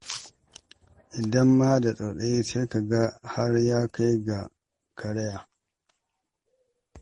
In ma da tsautsayi, sai ka ga har ta kai da karaya.